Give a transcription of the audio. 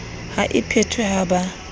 ha e phethwe ha ba